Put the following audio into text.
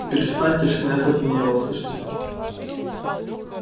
и перестаньте же навязывать его мне слышите